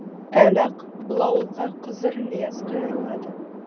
әлі ақ бұл ауылға қызыр ілияс қайырылады